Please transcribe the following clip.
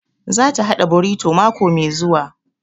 Za ta haɗa borito mako mai zuwa